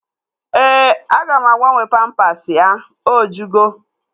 Ee, aga m agabnwe pampasi ya. O jugo